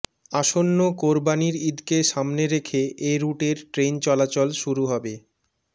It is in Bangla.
আসন্ন কোরবানীর ঈদকে সামনে রেখে এ রুটের ট্রেন চলাচল শুরু হবে